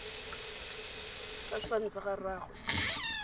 ka sefane sa ga rraagwe